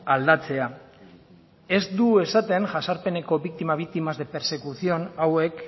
aldatzea ez du esaten jazarpeneko biktima victimas de persecución hauek